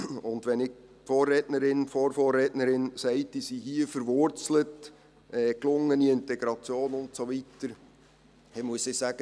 Und wenn die Vorrednerin sagt, diese seien hier verwurzelt, gelungene Integration und so weiter, dann muss ich sagen: